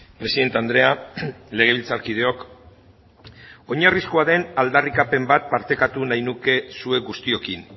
presidente andrea legebiltzarkideok oinarrizkoa den aldarrikapen bat partekatu nahi nuke zuek guztiokin